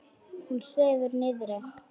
Hún sefur niðri.